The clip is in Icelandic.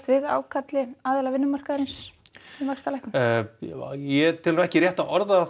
við ákalli aðila vinnumarkaðarins um vaxtalækkun ég tel ekki rétt að orða